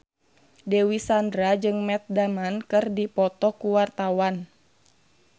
Dewi Sandra jeung Matt Damon keur dipoto ku wartawan